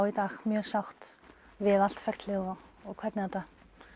í dag mjög sátt við allt ferlið og og hvernig þetta